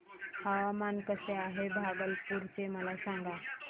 हवामान कसे आहे भागलपुर चे मला सांगा